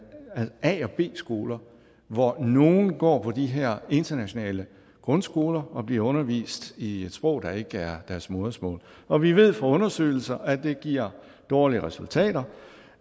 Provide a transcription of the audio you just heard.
a og en b skole hvor nogle går på de her internationale grundskoler og bliver undervist i et sprog der ikke er deres modersmål og vi ved fra undersøgelser at det giver dårlige resultater